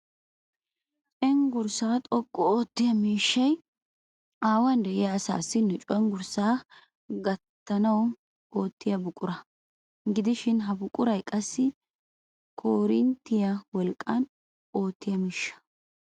Cenggurssaa xoqqu oottiya miishshay haahuwan de'iya asaassi nu cenggurssaa gakkanaadan oottiya buqura. Gidishin ha buquray qassi koorinttiya wolqqan oottiya miishsha.